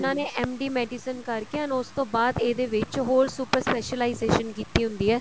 ਨੇ MD medicine ਕਰਕੇ and ਉਸ ਤੋਂ ਬਾਅਦ ਇਹਦੇ ਵਿੱਚ ਹੋਰ super specialization ਕੀਤੀ ਹੁੰਦੀ ਹੈ